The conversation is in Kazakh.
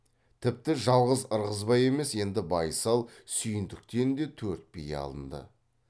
тіпті жалғыз ырғызбай емес енді байсал сүйіндіктен де төрт бие алынды